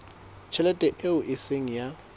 tjhelete eo e seng ya